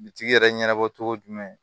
Bitigi yɛrɛ ɲɛnabɔ cogo jumɛn